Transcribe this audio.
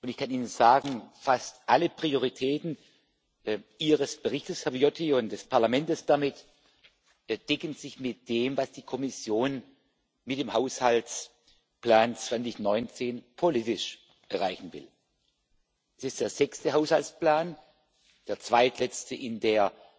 Und ich kann Ihnen sagen Fast alle Prioritäten Ihres Berichtes, Herr Viotti, und damit des Parlamentes decken sich mit dem, was die Kommission mit dem Haushaltsplan 2019 politisch erreichen will. Es ist der sechste Haushaltsplan, der zweitletzte in der